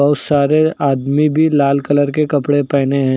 सारे आदमी भी लाल कलर के कपड़े पहने हैं।